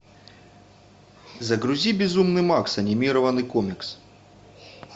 загрузи безумный макс анимированный комикс